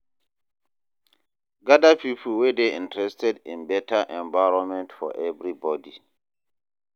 Gather people wey dey interested in better environment for everybody.